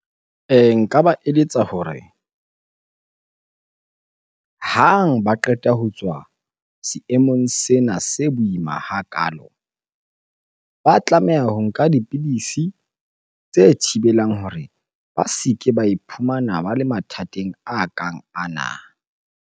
Nka ba eletsa hore hang ba qeta ho tswa seemong sena se boima hakaalo. Ba tlameha ho nka dipidisi tse thibelang hore ba se ke ba iphumana ba le mathateng a kang ana.